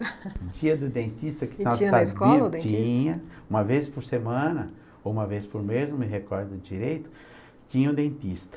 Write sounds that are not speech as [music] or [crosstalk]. [laughs] O dia do dentista que nós sabíamos tinha, uma vez por semana, ou uma vez por mês, não me recordo direito, tinha o dentista.